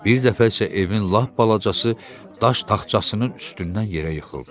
Bir dəfə isə evin lap balacası daş taxtçasının üstündən yerə yıxıldı.